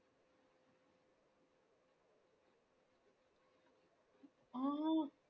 ആഹ്